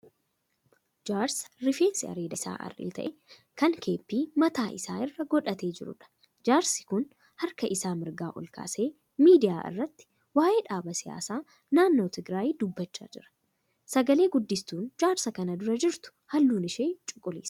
Jaarsa rifeensi areeda isaa arri ta'e kan kephee mataa isaa irra godhatee jiruudha. Jaarsi kun harka isaa mirgaa ol kaasee miidiyaa irratti waa'ee dhaaba siyaasaa naannoo Tigiraayii dubbachaa jira. Sagalee guddistuun jaarsa kan dura jirtu halluun ishee cuquliisa.